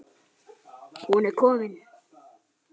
Hún er komin,